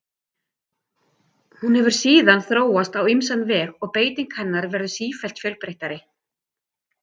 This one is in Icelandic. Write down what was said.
hún hefur síðan þróast á ýmsan veg og beiting hennar verður sífellt fjölbreyttari